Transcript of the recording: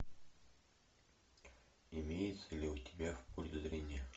имеется ли у тебя в поле зрения